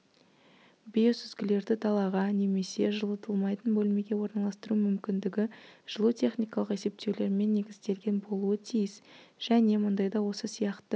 биосүзгілерді далаға немесе жылытылмайтын бөлмеге орналастыру мүмкіндігі жылутехникалық есептеулермен негізделген болуы тиіс және мұндайда осы сияқты